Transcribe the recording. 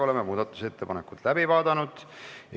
Oleme muudatusettepanekud läbi vaadanud.